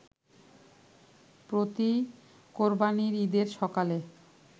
প্রতি কোরবানির ঈদের সকালে